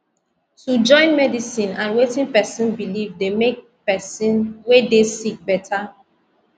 to join medicine and wetin pesin believe dey make pesin wey dey sick better